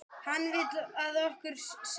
Hann vill, að okkur semji.